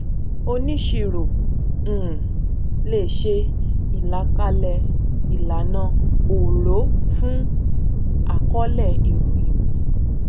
oníṣirò um lè ṣe ìlàkalẹ ìlànà òòró fún àkọọlẹ ìròyìn